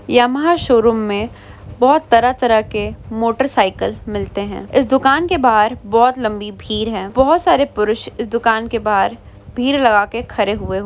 Yamaha showroom में बहुत तरह-तरह के मोटरसाइकिल मिलते हैं इस दुकान के बाहर बहुत लंबी भीड़ हैं बहुत सारे पुरुष इस दुकान के बाहर भीड़ लगा के खड़े हुए--